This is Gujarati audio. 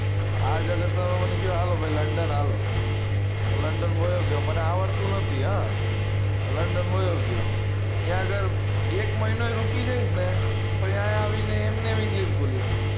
આ જગત પર મને આ લો ભાઈ london હા લો london વયો ગયો મને આવડતું નથી હ london વયો ગયો ત્યાં આગળ એક મહીનો રુકીશ જઈશ ન તો અઈ આવી ને એમ ની એમ જ english બોલીશ હું